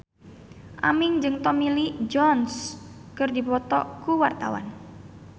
Aming jeung Tommy Lee Jones keur dipoto ku wartawan